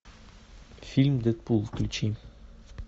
фильм дэдпул включи